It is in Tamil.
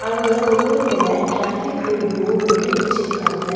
அங்க தூரத்துல ட்ராபிக் ரூல் போர்ட் ஒண்ணு வச்சுருக்காங்க.